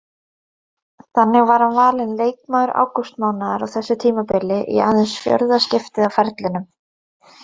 Þannig var hann valinn leikmaður ágústmánaðar á þessu tímabili í aðeins fjórða skiptið á ferlinum.